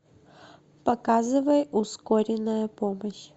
показывай ускоренная помощь